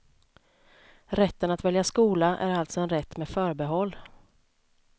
Rätten att välja skola är alltså en rätt med förbehåll.